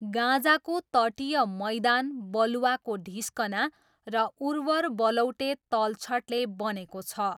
गाजाको तटीय मैदान बालुवाको ढिस्कना र उर्वर बलौटे तलछटले बनेको छ।